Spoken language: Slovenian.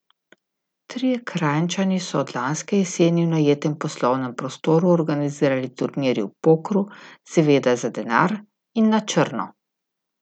Trije Kranjčani so od lanske jeseni v najetem poslovnem prostoru organizirali turnirje v pokru, seveda za denar in na črno.